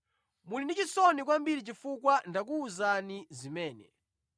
Muli ndi chisoni kwambiri chifukwa ndakuwuzani zimene.